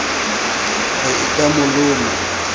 re e ka mo loma